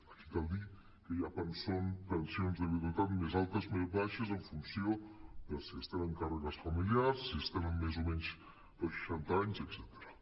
aquí cal dir que hi ha pensions de viudetat més altes més baixes en funció de si es tenen càrregues familiars si es tenen més o menys de seixanta anys etcètera